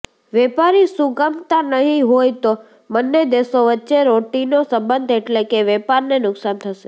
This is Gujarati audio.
વેપારી સુગમતા નહીં હોય તો બન્ને દેશો વચ્ચે રોટીનો સંબંધ એટલે કે વેપારને નુકસાન થશે